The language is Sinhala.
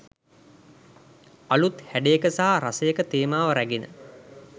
අලූත් හැඩයක සහ රසයක තේමාව රැගෙන